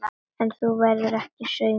En þú verður ekki samur.